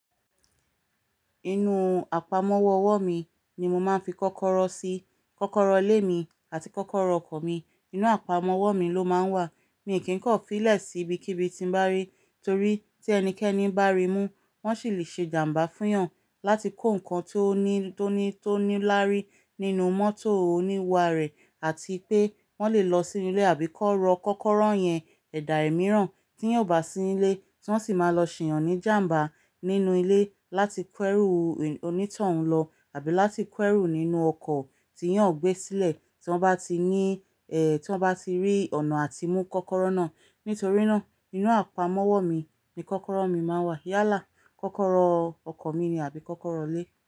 Inú àpamọ́wọ́ ọwọ́ mi ni mo máa ń fi kọ́kọ́rọ́ sí. Kọ́kọ́rọ́ ilé mi àti kọ́kọ́rọ́ ọkọ̀ mi inú àpamọ́wọ́ mi ló máa ń wà. Mi ò kí ń kọ́ ì filẹ̀ sí ibikíbi tí ń bá rí, torí tí ẹnikẹ́ni bá rí mú, wọ́n sì lè ṣe ìjàmbá fún'yàn láti kó ǹkan tó ní, tó ní, tó ní laári nínú mọ́tò oníwá rẹ̀ àti pé wọ́n lè lọ sínú ilé àbí ki won rọ kọ́kọ́rọ́ yẹn ẹ̀dà ẹ̀ mìíràn tí yóò bá sí ní ilé tí wọ́n sì máa lọ ṣìyàn ní ìjàmbá nínú ilé láti kó ẹ́rù onítòhún lọ àbí láti k'ẹ́rù nínú ọkọ̀ tí yóò gbé sílẹ̀ tí wọ́n bá ti ní ẹ́, tí wọ́n bá ti rí ọ̀nà àti mú kọ́kọ́rọ́ náà. Nítorí náà, inú àpamọ́wọ́ mi ni kọ́kọ́rọ́ mi máa ń wà. Yálà kọ́kọ́rọ́ ọkọ̀ mi ni àbí kọ́kọ́rọ́ ilé.